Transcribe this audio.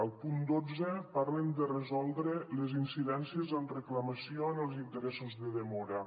al punt dotze parlen de resoldre les incidències amb reclamació en els interessos de demora